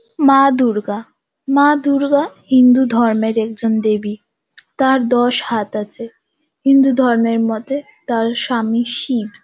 মা দূর্গা মা দূর্গা হিন্দু ধর্মের একজন দেবী। তার দশ হাত আছে। হিন্দু ধর্মের মতে তার স্বামী শিব।